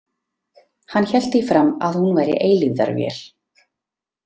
Hann hélt því fram að hún væri eilífðarvél.